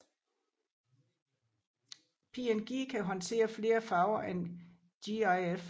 PNG kan håndtere flere farver end GIF